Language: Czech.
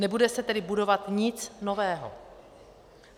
Nebude se tedy budovat nic nového.